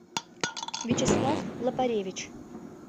вячеслав лопаревич